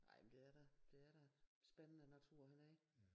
Ej men det er da det er da spændende natur hernede